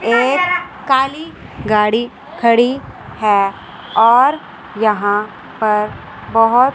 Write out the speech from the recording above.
एक काली गाड़ी खड़ी है और यहां पर बहोत--